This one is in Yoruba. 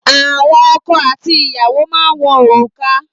Àwọn ọkọ àti ìyàwó máa ń wọ òrùka.